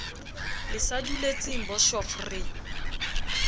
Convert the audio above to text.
le sa duletseng boshof re